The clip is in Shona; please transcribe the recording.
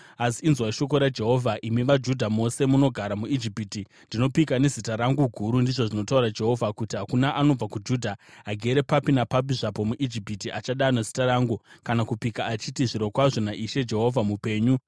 Asi inzwai shoko raJehovha, imi vaJudha mose munogara muIjipiti: ‘Ndinopika nezita rangu guru,’ ndizvo zvinotaura Jehovha, ‘kuti hakuna anobva kuJudha agere papi napapi zvapo muIjipiti achadana zita rangu kana kupika achiti: “Zvirokwazvo naIshe Jehovha mupenyu,”